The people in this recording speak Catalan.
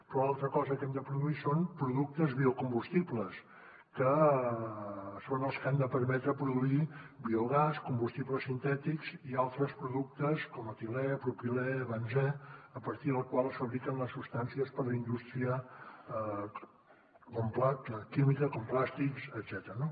però l’altra cosa que hem de produir són productes biocombustibles que són els que han de permetre produir biogàs combustibles sintètics i altres productes com etilè propilè benzè a partir del qual es fabriquen les substàncies per a la indústria química com plàstics etcètera